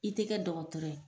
I te kɛ dɔgɔtɔrɔ ye